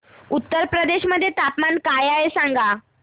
उत्तर प्रदेश मध्ये तापमान काय आहे सांगा